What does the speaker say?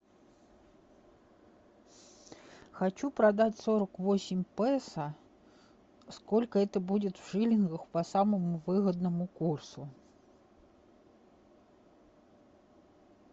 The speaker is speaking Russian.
хочу продать сорок восемь песо сколько это будет в шиллингах по самому выгодному курсу